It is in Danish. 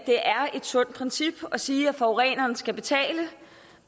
sundt princip at sige at forureneren skal betale